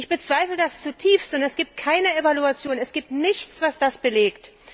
Ich bezweifle das zutiefst, und es gibt keine Evaluation, es gibt nichts, was das belegt.